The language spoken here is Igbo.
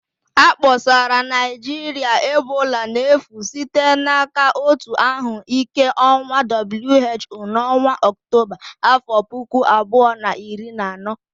A kpọsara Naịjirịa ebola n'efu site n'aka Òtù Ahụ Ike Ụwa (WHO) n'ọnwa Ọktọba afọ puku abuo na iri na ano